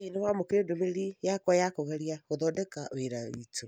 Hihi nĩ wamũkĩrire ndũmĩrĩri yakwa ya kũgeria gũthondeka wĩra witũ?